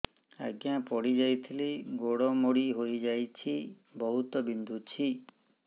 ଆଜ୍ଞା ପଡିଯାଇଥିଲି ଗୋଡ଼ ମୋଡ଼ି ହାଇଯାଇଛି ବହୁତ ବିନ୍ଧୁଛି